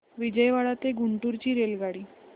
विजयवाडा ते गुंटूर ची रेल्वेगाडी